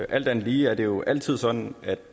alt andet lige er det jo altid sådan at